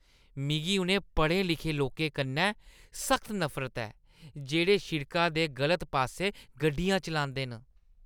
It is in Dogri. मिगी उ'नें पढ़े-लिखे लोकें कन्नै सख्त नफरत ऐ जेह्ड़े शिड़का दे गलत पास्सै गड्डियां चलांदे न।